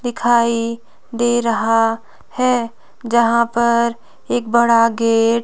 दिखाई दे रहा है जहां पर एक बड़ा गेट --